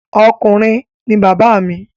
Ọkùnrin ni bàbá mi